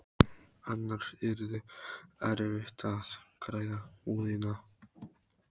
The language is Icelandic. Annars yrði erfitt að græða húðina.